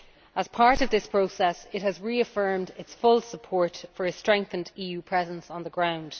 As part of this process it has reaffirmed its full support for a strengthened EU presence on the ground.